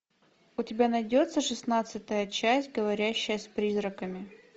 у тебя найдется шестнадцатая часть говорящая с призраками